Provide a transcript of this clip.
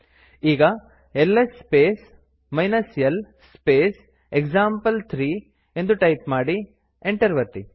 ಈಗ LS space l space example three ಎಂದು type ಮಾಡಿ ಎಂಟರ್ ಒತ್ತಿ